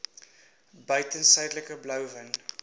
buiten suidelike blouvin